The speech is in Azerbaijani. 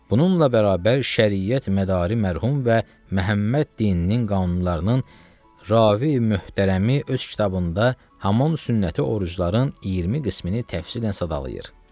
Bununla bərabər, şəriət mədari mərhum və Məhəmməd dininin qanunlarının ravi möhtərəmi öz kitabında haman sünnəti orucların 20 qismini təfsilən sadalayır.